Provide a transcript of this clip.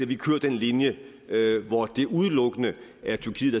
vi kører den linje hvor det udelukkende er tyrkiet